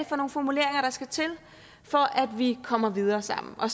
for nogle formuleringer der skal til for at vi kommer videre sammen og